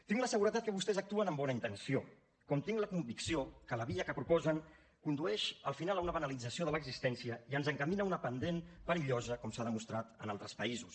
tinc la seguretat que vostès actuen amb bona intenció com tinc la convicció que la via que proposen condueix al final a una banalització de l’existència i ens encamina a una pendent perillosa com s’ha demostrat en altres països